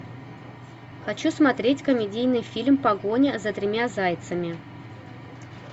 хочу смотреть комедийный фильм погоня за тремя зайцами